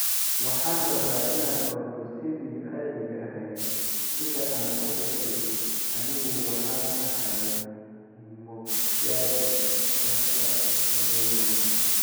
“Waxaan rabaa inaan ordo sidii caadiga ahayd, sida aan u dhashay. Anigu waxaan ahay Mokgadi Caster Semenya.”